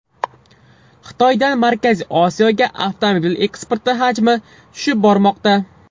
Xitoydan Markaziy Osiyoga avtomobil eksporti hajmi tushib bormoqda.